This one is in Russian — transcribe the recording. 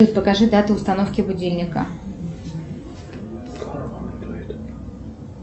покажи дату установки будильника